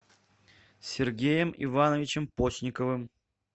сергеем ивановичем постниковым